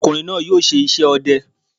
Ọ̀kùnrin náà yóò ṣe iṣẹ́ ọdẹ